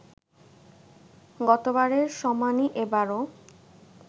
গতবারের সমানই এবারও